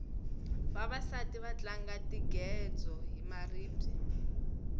vavasati va tlanga tingedzo hi maribye